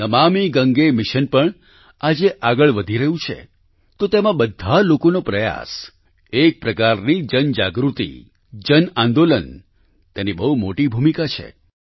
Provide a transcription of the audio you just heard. નમામિ Gange mission પણ આજે આગળ વધી રહ્યું છે તો તેમાં બધા લોકોને પ્રયાસ એક પ્રકારથી જનજાગૃતિ જન આંદોલન તેની બહુ મોટી ભૂમિકા છે